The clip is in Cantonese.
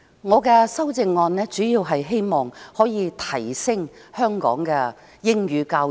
我提出修正案，主要是希望能夠提升香港的英語教育。